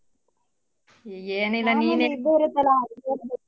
ಏನಿಲ್ಲ .